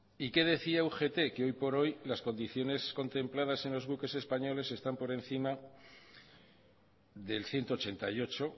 y que decía ugt que hoy por hoy las condiciones contempladas en los buques españoles están por encima del ciento ochenta y ocho